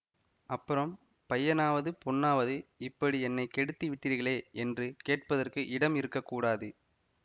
அப்புறம் பையனாவது பொண்ணாவது இப்படி என்னை கெடுத்து விட்டிர்களே என்று கேட்பதற்கு இடம் இருக்க கூடாது